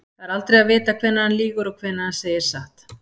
Það er aldrei að vita hvenær hann lýgur og hvenær hann segir satt.